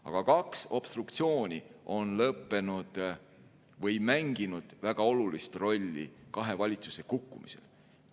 Aga kaks obstruktsiooni on mänginud väga olulist rolli kahe valitsuse kukkumisel.